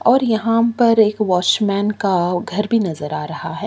और यहाँ पर एक वॉचमैन का घर भी नज़त आ रहा है।